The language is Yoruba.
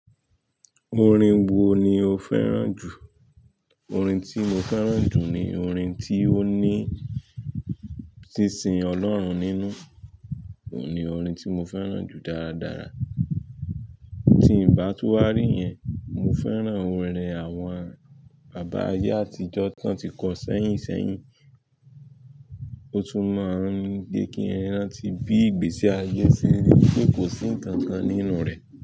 Orin wo ni o fẹ́ràn jù? Orin tí mo fẹ́ràn jù ni orin tí ó ní ṣínṣín Ọlọ́run nínú, òun ni orin tí mo fẹ́ràn jù dáradára. Tí ń bá tú wá rí yẹn, mo fẹ́ràn orin rẹ̀ àwọn bàbá ayé àtijọ́ tán ti kan sẹ́yìn sẹ́yìn, ó tún máa ń gẹ kí ẹ rán tí bí ìgbésí ayé sílé pé kò sí ǹkan kan nínú rẹ̀